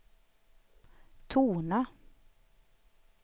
tona